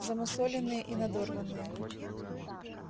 замусоленные и надорванные